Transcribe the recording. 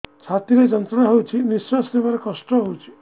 ଛାତି ରେ ଯନ୍ତ୍ରଣା ହେଉଛି ନିଶ୍ଵାସ ନେବାର କଷ୍ଟ ହେଉଛି